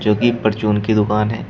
जोकी परचून की दुकान है।